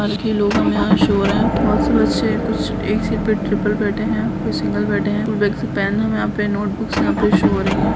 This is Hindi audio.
के लोग हमें या शो हो रहे है बहुत से बच्चे कुछ एक सीट पे त्रिपल बैठे है कोई सिंगल बैठे है और बैग से पेन हमे या पे नोटबुकस यहाँ पे शो हो रही है।